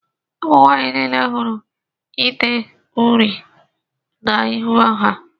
Ụmụnwanyị niile hụrụ ide uri na -ihu ha.